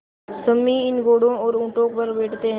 सम्मी इन घोड़ों और ऊँटों पर बैठते हैं